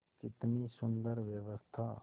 कितनी सुंदर व्यवस्था